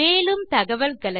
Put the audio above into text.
மேலும் தகவல்களுக்கு